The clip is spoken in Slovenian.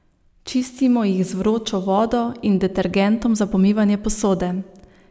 Čistimo jih z vročo vodo in detergentom za pomivanje posode.